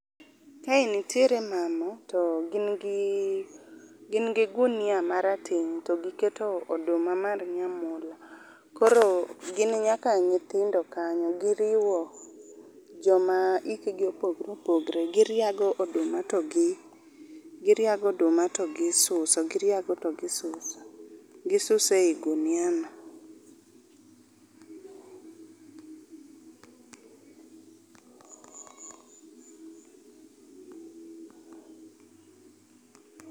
Kae nitiere mama to gin gi, gin gi gunia marateng to giketo oduma mar nyamula, koro gin nyaka nyithindo kanyo m,giriwo joma hikgi opogore opogore. Giriago oduma togi , giriago oduma to gisuso, gisuso e gunia no